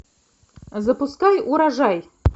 запускай урожай